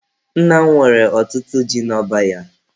Nna m nwere ọtụtụ ji n'ọba ya.